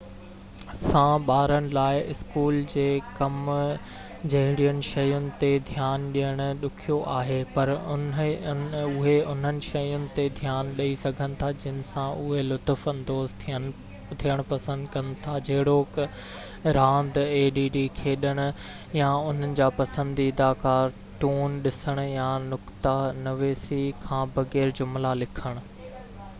add سان ٻارن لاءِ اسڪول جي ڪم جهڙين شين تي ڌيان ڏيڻ ڏکيو آهي پر اهي انهن شين تي ڌيان ڏئي سگهن ٿا جن سان اهي لطف اندوز ٿيڻ پسند ڪن ٿا جهڙوڪ راند کيڏڻ يا انهن جا پسنديده ڪارٽون ڏسڻ يا نقته نويسي کان بغير جملا لکڻ